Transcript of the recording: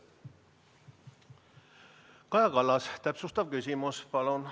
Kaja Kallas, täpsustav küsimus, palun!